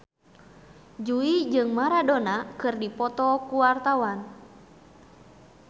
Jui jeung Maradona keur dipoto ku wartawan